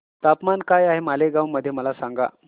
तापमान काय आहे मालेगाव मध्ये मला सांगा